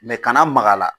kana maga la